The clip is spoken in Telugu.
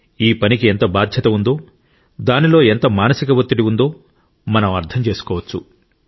ఈ పనికి ఎంత బాధ్యత ఉందో దానిలో ఎంత మానసిక ఒత్తిడి ఉందో మనం అర్థం చేసుకోవచ్చు